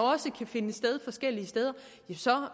også kunne finde sted forskellige steder så